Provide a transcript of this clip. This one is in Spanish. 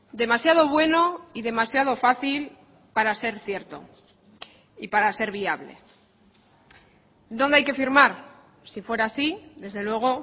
demasiado bueno y demasiado fácil para ser cierto y para ser viable dónde hay que firmar si fuera así desde luego